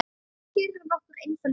Hér eru nokkur einföld dæmi